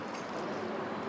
Normal gəlib.